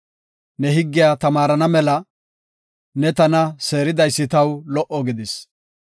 Ne higgiya tamaarana mela ne tana seeridaysi taw lo77o gidis.